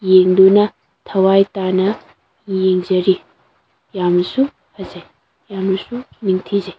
ꯌꯦꯡꯗꯨꯅ ꯊꯋꯥꯏ ꯇꯥꯅ ꯌꯦꯡꯖꯤ ꯌꯥꯝꯅꯁꯨ ꯐꯖꯩ ꯌꯥꯝꯅꯁꯨ ꯅꯤꯡꯊꯤꯖꯩ꯫